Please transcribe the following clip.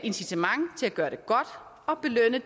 gøre det godt og belønne